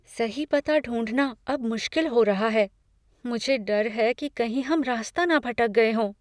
सही पता ढूंढना अब मुश्किल हो रहा है। मुझे डर है कि कहीं हम रास्ता ना भटक गए हों।